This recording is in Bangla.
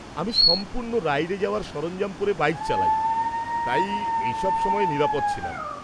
-আমি সম্পূর্ণ রাইডে যাওয়ার সরঞ্জম পরে বাইক চালাই, তাই এই সব সময়ে নিরাপদ ছিলাম।